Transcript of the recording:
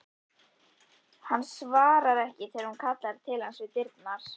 Hann svarar ekki þegar hún kallar til hans við dyrnar.